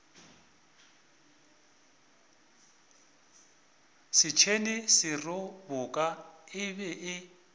setšhene seroboka e be e